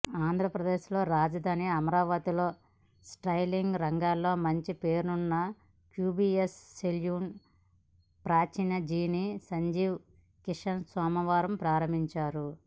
ఆంధ్రప్రదేశ్ రాజధాని అమరావతిలో స్టైలింగ్ రంగంలో మంచి పేరున్న క్యూబీఎస్ సెలూన్ ఫ్రాంచైజీని సందీప్ కిషన్ సోమవారం ప్రారంభించారు